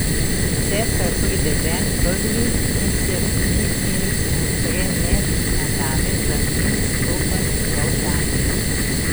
Cesar pride ven prvi in se niti ozre ne na dame, za njim stopa njegov tajnik.